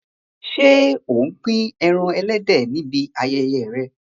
Ṣé ò ń pín ẹran ẹlẹ́dẹ̀ níbi ayẹyẹ rẹ?